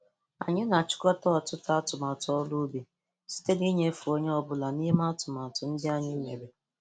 Anyị na-achịkọta ọtụtụ atumatụ ọrụ ubi site n'inyefe onye ọbụla n'ime atụmatụ ndị anyị mere.